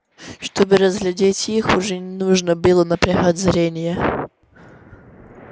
чтобы разглядеть их уже не нужно было напрягать зрение